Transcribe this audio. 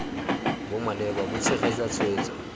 bo maleba bo tshegetsa tshwetso